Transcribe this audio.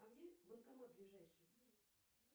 а где банкомат ближайший